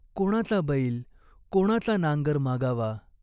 कोणाचा बैल, कोणाचा नांगर मागावा !